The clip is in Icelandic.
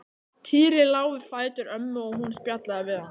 Týri lá við fætur ömmu og hún spjallaði við hann.